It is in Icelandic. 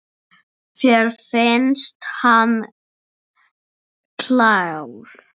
Mér finnst hann klár.